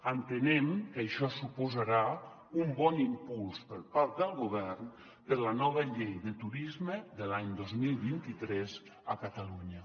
entenem que això suposarà un bon impuls per part del govern per a la nova llei de turisme de l’any dos mil vint tres a catalunya